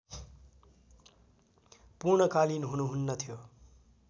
पूर्णकालीन हुनु हुन्नथ्यो